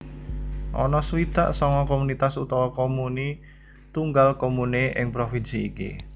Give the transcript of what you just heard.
Ana swidak sanga komunitas utawa comuni tunggal comune ing provinsi iki